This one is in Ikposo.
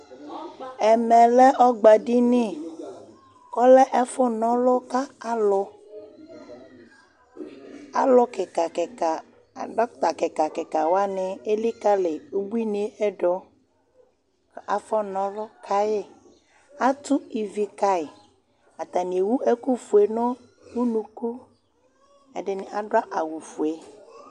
Ɛmɛlɛ ɔgbadini, kʋ ɔlɛ ɛfʋna ɔlʋ kʋ alʋ, dɔkta kika kika wani elikali ʋbuiniyɛ dʋ, kʋ afɔna ɔlʋ kayi Atʋ ivi kayi, atani ewʋ ɛkʋfue nʋ ʋnʋkʋ, ɛdini adʋ awʋfue